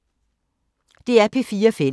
DR P4 Fælles